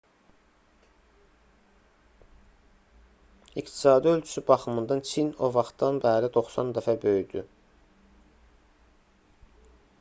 i̇qtisadi ölçüsü baxımından çin o vaxtdan bəri 90 dəfə böyüdü